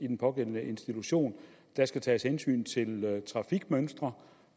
den pågældende institution der skal tages hensyn til trafikmønstre